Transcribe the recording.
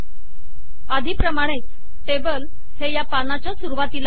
आधीप्रमाणेच table हे या पानाच्या सरुवातीला आले आहे